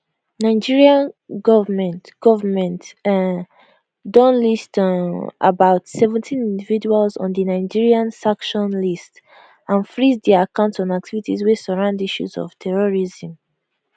nigeria goment goment um don list um about seventeenindividuals on di nigeria sanction list and freeze dia accounts on activities wey surround issues of terrorism